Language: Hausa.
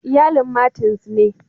Iyalin Martins ne.